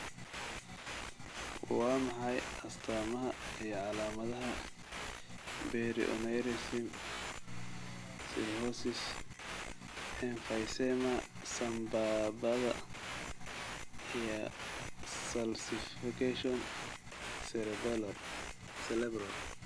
Waa maxay astamaha iyo calaamadaha Berry aneurysm, cirrhosis, emphysema sambabada, iyo calcification cerebral?